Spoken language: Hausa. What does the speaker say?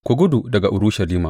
Ku gudu daga Urushalima!